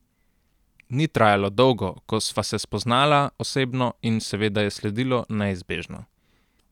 Ni trajalo dolgo, ko sva se spoznala osebno in seveda je sledilo neizbežno.